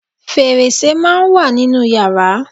Fẹ̀rẹsẹ́ máà ń wà nínú yàrá.